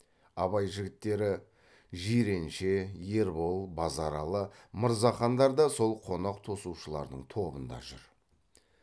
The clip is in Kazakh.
абай жігіттері жиренше ербол базаралы мырзахандар да сол қонақ тосушылардың тобында жүр